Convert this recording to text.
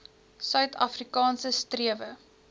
suid afrikaanse strewe